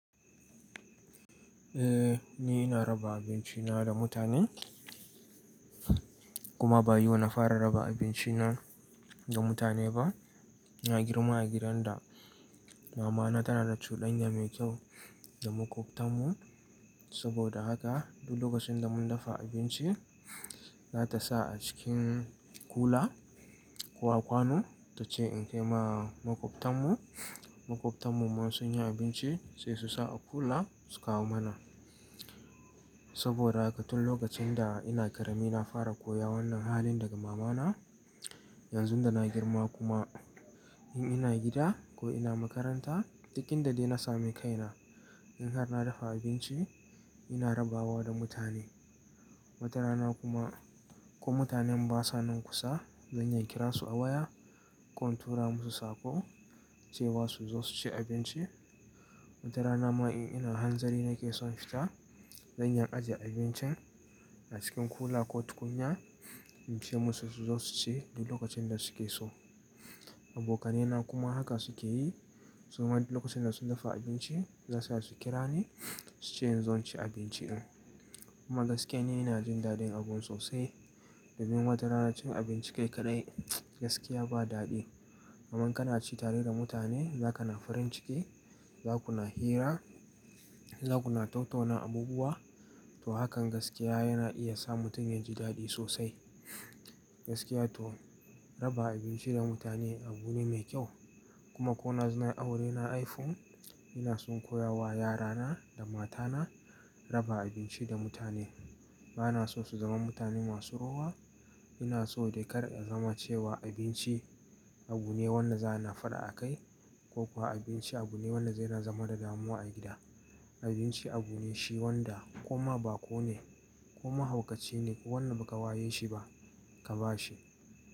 Eh, ni ina raba abinci na da mutane kuma ba yau na fara raba abinci na ga mutane ba. Na girma a gidan da mama na tana da cuɗanya mai kyau da maƙwabtan mu. Saboda haka duk lokacin da mun dafa abinci, za ta sa a cikin kula ko a kwano ta ce in kai ma maƙwabtan mu. Maƙwabtan mu ma sun yi abinci sai su sa a kula su kawo mana. Saboda haka tun lokacin da ina ƙarami na fara koya wannan halin daga mama na. Yanzun da na girma kuma in ina gida ko ina makaranta, duk inda dai na sami kaina in har na dafa abinci ina raba wa da mutane. Wata rana kuma ko mutanen basa nan kusa, zan iya kiran su a waya ko in tura musu saƙo ce wa su zo su ci abinci. Wata rana ma in ina hanzari nake son fita, zan iya ajiye abincin a cikin kula ko tukunya in ce musu su zo su ci duk lokacin da suke so. Abokanai na kuma haka suke yi. Su ma duk lokacin da sun dafa abinci za su iya su kira ni su ce in zo in ci abinci in. Kuma gaskiya ni ina jin daɗin abun sosai. Domin wata rana cin abinci kai kaɗai gaskiya ba daɗi. Aman kana ci tare da mutane, zakana farin ciki, zakuna hira, zakuna tattauna abubuwa. To hakan gaskiya yana iya sa mutum yaji daɗi sosai. Gaskiya to raba abinci da mutane abu ne mai kyau. Kuma ko na zauna aure na haifu, ina son koya wa yara na da mata na raba abinci da mutane. Ba na so su zama mutane masu rowa. Ina so dai kar a zama cewa abinci abu ne wanda za ana faɗa a kai ko kuwa abinci abu ne wanda zai na zama da damuwa a gida. Abinci abu ne shi wanda koma baƙo ne ko mahaukaci ne ko wanda baka waye shi ba, ka ba shi.